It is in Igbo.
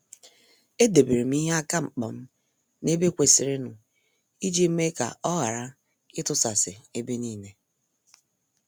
E deberem ihe aka mkpam n' ebe kwesịrịnụ, iji mee ka ọ ghara itusasi ebe niile.